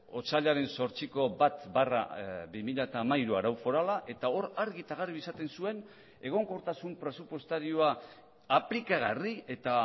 otsailaren zortziko bat barra bi mila hamairu arau forala eta hor argi eta garbi esaten zuen egonkortasun presupuestarioa aplikagarri eta